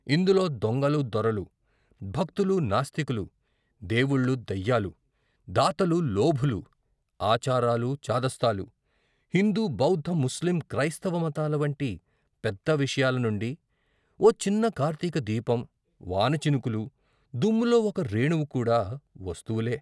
ఇందులో దొంగలు దొరలు, భక్తులు నాస్తికులు, దేవుళ్ళు దెయ్యాలు, దాతలు లోభులు, ఆచారాలు చాదస్తాలు, హిందు బౌద్ధ ముస్లిం క్రైస్తవ మతాల వంటి పెద్ద విషయాల నుండి, ఓ చిన్న కార్తిక దీపం, వానచినుకులు, దుమ్ములో ఒక్క రేణువు కూడా వస్తువులే.